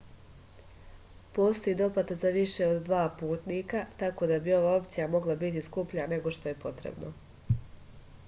postoji doplata za više od 2 putnika tako da bi ova opcija mogla biti skuplja nego što je to potrebno